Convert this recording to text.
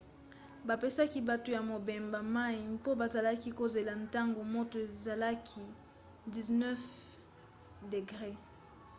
bapesaki bato ya mobembo mai mpo bazalaki kozela ntango moto ezalaki 90f-degre